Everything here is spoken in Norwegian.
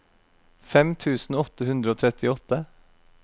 fem tusen åtte hundre og trettiåtte